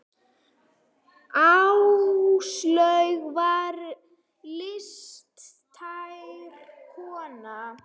Áslaug var listræn kona.